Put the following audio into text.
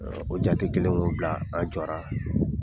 O jate kɛlen k'o bila an jɔra